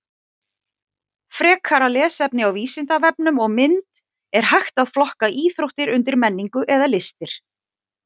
Frekara lesefni á Vísindavefnum og mynd Er hægt að flokka íþróttir undir menningu eða listir?